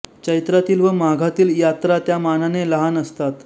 चैत्रातील व माघातील यात्रा त्या मानाने लहान असतात